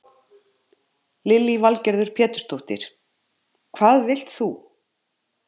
Lillý Valgerður Pétursdóttir: Hvað vilt þú?